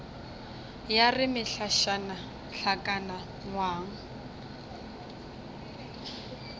ya re mehlašana hlakana ngwang